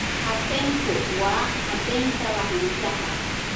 Patentku waa caddaynta lahaanshaha.